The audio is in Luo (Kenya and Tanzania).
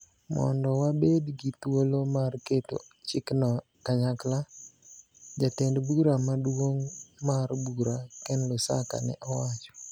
mondo wabed gi thuolo mar keto chikno kanyakla, jatend bura maduong' mar bura, Ken Lusaka, ne owacho.